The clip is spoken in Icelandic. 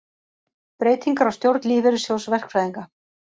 Breytingar á stjórn Lífeyrissjóðs verkfræðinga